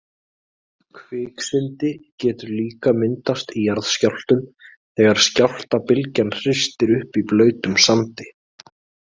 Kviksyndi getur líka myndast í jarðskjálftum þegar skjálftabylgjan hristir upp í blautum sandi.